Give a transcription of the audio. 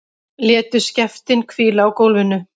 Létu skeftin hvíla á gólfinu.